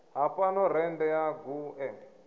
ha fhano rennde ya guṱe